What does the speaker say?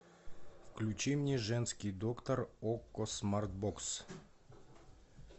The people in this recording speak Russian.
включи мне женский доктор окко смарт бокс